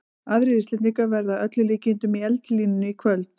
Aðrir Íslendingar verða að öllum líkindum í eldlínunni í kvöld.